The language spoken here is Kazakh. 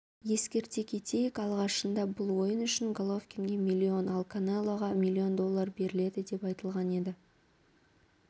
ескерте кетейік алғашында бұл ойын үшін головкинге миллион ал канелоға миллион доллар беріледі деп айтылған еді